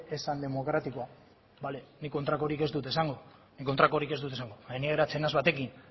ez zen demokratikoa bale nik kontrakorik ez dut esango baina ni geratzen naiz batekin